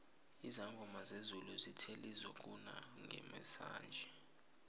izangoma zezulu zithe lizokuna ngesinanje